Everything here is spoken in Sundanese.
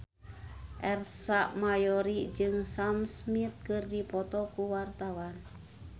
Ersa Mayori jeung Sam Smith keur dipoto ku wartawan